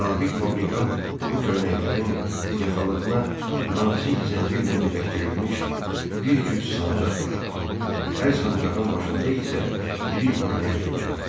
Sabit fabrikant bu köynəklərin yaxalığına nazik zəncirlə birləşdirilmiş bir cüt sancaq taxar, hər sancağın başında isə iri brilliant görünərdi.